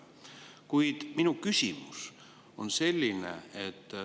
Kuid minu küsimus on selline.